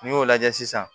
N'i y'o lajɛ sisan